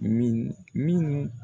Mini minnu